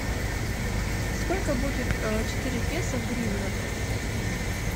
сколько будет четыре песо в гривнах